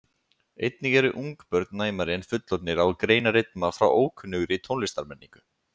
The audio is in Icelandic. einnig eru ungbörn næmari en fullorðnir á að greina rytma frá ókunnugri tónlistarmenningu